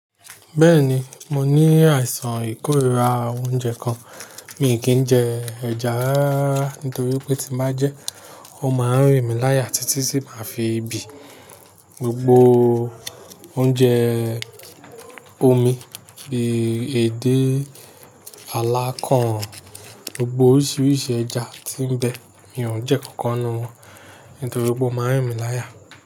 Bẹ́ẹ̀ni, mo ní àìsàn ìkórira oúnjẹ kan. Mì kí ń jẹ ẹja rárá rara nítorí pé tí n bá jẹ́, ó máa ń rìn mí láya títí tí màá fi bí i. Gbogbo oúnjẹ omi bí i èdè, alákàn, gbogbo oríṣiríṣi ẹja tí ń bẹ, mi ò jẹ́ kankan nínú wọn nítorí pé ó máa ń rìn mí láya.